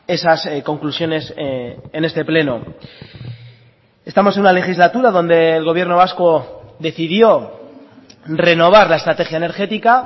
esas conclusiones en este pleno estamos en una legislatura donde el gobierno vasco decidió renovar la estrategia energética